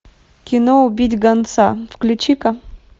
кино убить гонца включи ка